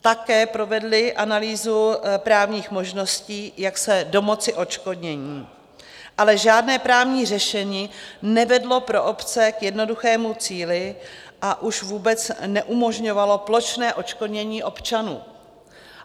Také provedli analýzu právních možností, jak se domoci odškodnění, ale žádné právní řešení nevedlo pro obce k jednoduchému cíli, a už vůbec neumožňovalo plošné odškodnění občanů.